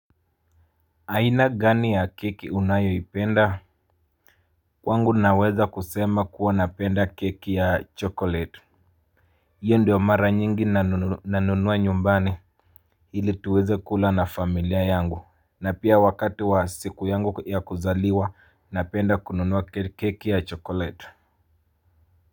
Aina gani ya keki unayo ipenda? Kwangu naweza kusema kuwa napenda keki ya chokolate. Iyo ndio mara nyingi nanunuwa nyumbani. Hili tuweze kula na familia yangu. Na pia wakati wa siku yangu ya kuzaliwa napenda kununuwa keki ya chokolate.